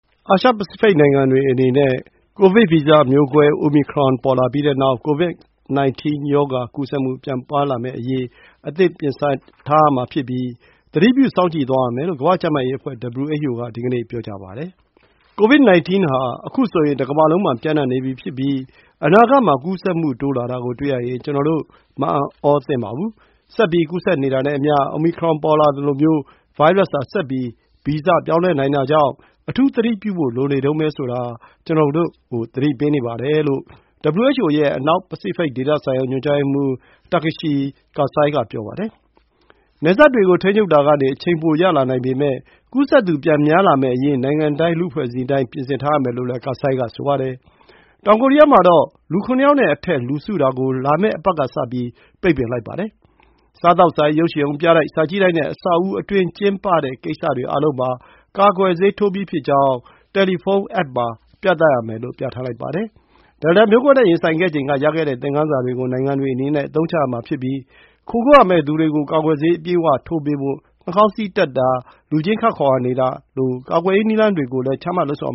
အာရှ-ပစိဖိတ် နိုင်ငံတွေအနေနဲ့ Omicron ကိုဗစ်ဗီဇမျိုးကွဲ ပေါ်လာပြီးတဲ့နောက် COVID-19 ရောဂါကူးစက်မှု ပြန်များလာမယ့်အရေး အသင့်ပြင်ဆင်ထားရမှာဖြစ်ပြီး သတိပြုစောင့်ကြည့်သွားရမယ်လို့ ကမ္ဘာ့ ကျန်းမာရေးအဖွဲ့ (WHO) က ဒီကနေ့ပြောပါတယ်။ "COVID-19 ဟာ အခုဆိုရင် တကမ္ဘာလုံးမှာ ပျံ့နှံ့နေပြီဖြစ်ပြီး အနာဂတ်မှာ ကူးစက်မှုတိုးလာတာကို တွေ့ရရင် ကျနော်တို့ မအံ့သြသင့်ပါဘူး။ ဆက်ပြီး ကူးစက်နေတာနဲ့အမျှ Omicron ပေါ်လာသလိုမျိုး ဗိုင်းရပ်စ်ဟာ ဆက်ပြီး ဗီဇပြောင်းလဲနိုင်တာကြောင့် အထူးသတိပြုဖို့လိုနေတုန်းပဲဆိုတာ ကျနော်တို့ကို သတိပေးနေပါတယ်" လို့ WHO ရဲ့ အနောက်ပစိဖိတ်ဒေသဆိုင်ရာ ညွှန်ကြားရေးမှူး Takeshi Kasai က ပြောပါတယ်။ နယ်စပ်တွေကို ထိန်းချုပ်တာကနေ အချိန်ပိုရလာနိုင်ပေမယ့် ကူးစက်သူ ပြန်များလာမယ့်အရေး နိုင်ငံတိုင်း၊ လူ့အဖွဲ့အစည်းတိုင်း ပြင်ဆင်ထားရမယ်လို့လည်း Kasai ကပြောပါတယ်။ တောင်ကိုရီးယားမှာတော့ လူ ခုနစ်ယောက်နဲ့အထက် လူစုတာကို လာမယ့်အပတ်က စပြီး ပိတ်ပင်လိုက်ပါတယ်။ စားသောက်ဆိုင်၊ ရုပ်ရှင်ရုံ၊ ပြတိုက်၊ စာကြည့်တိုက်နဲ့ အဆောက်အဦအတွင်းကျင်းပတဲ့ ကိစ္စတွေ အားလုံးမှာ ကာကွယ်ဆေးထိုးပြီးကြောင်း တယ်လီဖုန်းအက်ပ်မှာ ပြသရမယ် လို့ ပြဌာန်းလိုက်ပါတယ်။ Delta မျိုးကွဲနဲ့ ရင်ဆိုင်ခဲ့ချိန်က ရခဲ့တဲ့သင်ခန်းစာတွေကို နိုင်ငံတွေအနေနဲ့ အသုံးချရမှာဖြစ်ပြီး ခိုကိုးရာမဲ့သူတွေကို ကာကွယ်ဆေး အပြည့်အဝထိုးပေးဖို့၊ နှာခေါင်းစည်းတပ်တာ၊ လူချင်း ခပ်ခွာခွာနေတာလို ကာကွယ်ရေးနည်းလမ်းတွေကို ချမှတ်လုပ်ဆောင်